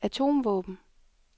atomvåben